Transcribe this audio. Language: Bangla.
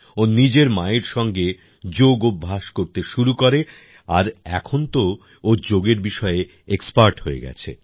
ও নিজের মায়ের সঙ্গে যোগ অভ্যাস করতে শুরু করে আর এখন তো ও যোগের বিষয়ে এক্সপার্ট হয়ে গেছে